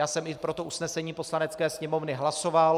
Já jsem i pro to usnesení Poslanecké sněmovny hlasoval.